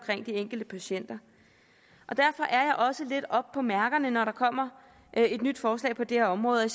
de enkelte patienter derfor er jeg også lidt oppe på mærkerne når der kommer et nyt forslag på det her område og